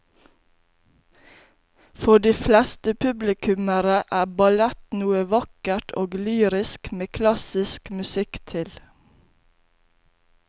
For de fleste publikummere er ballett noe vakkert og lyrisk med klassisk musikk til.